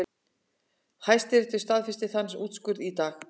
Hæstiréttur staðfesti þann úrskurð í dag